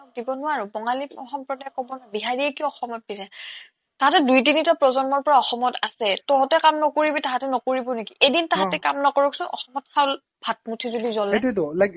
দিব নোৱাৰো বঙালী সম্প্ৰদায়ে ক'ব ন বিহাৰীয়ে কিয় অসমত বিজে তাহাতে দুই তিনিটা প্ৰজন্মৰ পৰা অসমত আছে, তহতে নকৰিবি তাহাতে নকৰিব নেকি? এদিন তাহাতে অ কাম নকৰকচোন অসমত চাউল ভাতমুঠি যদি জলে